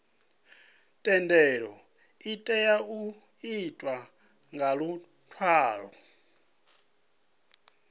thendelo itea u itwa nga luṅwalo